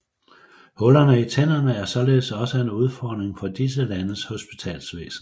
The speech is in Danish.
Huller i tænderne er således også en udfordring for disse landes hospitalsvæsen